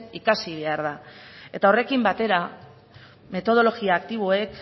ikasi behar da eta horrekin batera metodologia aktiboek